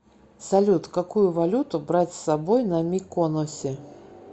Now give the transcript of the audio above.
салют какую валюту брать с собой на миконосе